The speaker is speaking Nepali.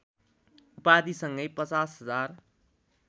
उपाधिसँगै ५० हजार